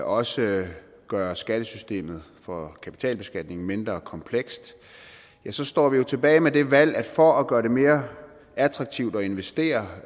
også gøre skattesystemet for kapitalbeskatning mindre komplekst står vi jo tilbage med det valg at for at gøre det mere attraktivt at investere